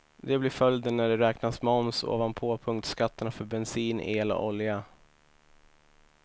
Det blir följden när det räknas moms ovanpå punktskatterna för bensin, el och olja.